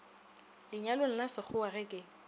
lenyalong la sekgowa ge ke